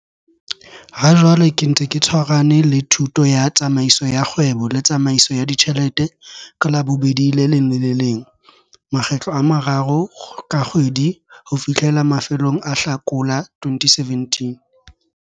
Hajwale ke ntse ke tshwarahane le thuto ya Tsamaiso ya Kgwebo le Tsamaiso ya Ditjhelete ka Labobedi le leng le le leng, makgetlo a mararo ka kgwedi ho fihlela mafelong a Hlakola 2017.